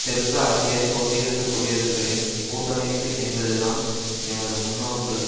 தெற்கு ஆசிய சோசியலிசக் குடியரசுகளின் கூட்டமைப்பு என்பது தான் எமது முன்னோக்கு